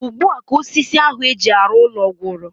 Ugbua ka osisi ahu eji arụ ụlọ gwụrụ